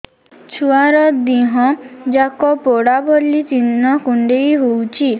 ଛୁଆର ଦିହ ଯାକ ପୋଡା ଭଳି ଚି଼ହ୍ନ କୁଣ୍ଡେଇ ହଉଛି